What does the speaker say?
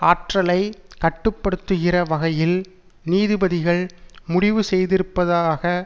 ஆற்றலை கட்டுப்படுத்துகிற வகையில் நீதிபதிகள் முடிவு செய்திருப்பதாக